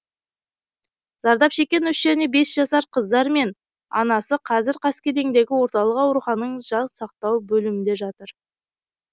зардап шеккен үш және бес жасар қыздар мен анасы қазір қаскелеңдегі орталық аурухананың жан сақтау бөлімінде жатыр